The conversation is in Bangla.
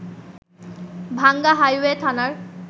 ভাংগা হাইওয়ে থানার